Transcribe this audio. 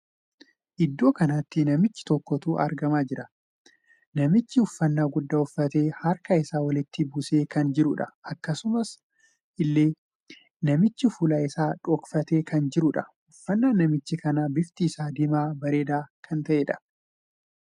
Iddoo kanatti namicha tokkotu argamaa jira. Namichi uffannaa guddaa uffatee harka isaa walitti buusee kan jiruudha. Akkasuma illee namichi fuulli isaa dhokfatee kan jiruudha. Uffannaan namicha kana bifti isaa diimaa bareedaa kan ta'eedha.